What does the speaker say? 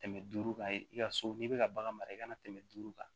Tɛmɛ duuru kan i ka so n'i bɛ ka bagan mara i kana tɛmɛ duuru kan